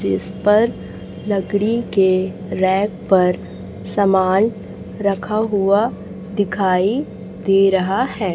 जिस पर लकड़ी के रैक पर सामान रखा हुआ दिखाई दे रहा है।